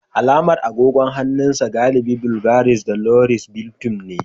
Alamar agogon hannun sa galibi Bvgary da Luis Vulton ne